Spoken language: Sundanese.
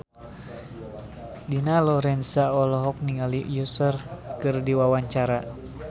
Dina Lorenza olohok ningali Usher keur diwawancara